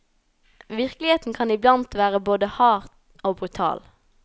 Virkeligheten kan iblandt være både hard og brutal.